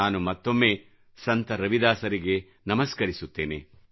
ನಾನು ಮತ್ತೊಮ್ಮೆ ಸಂತ ರವಿದಾಸರಿಗೆ ನಮಸ್ಕರಿಸುತ್ತೇನೆ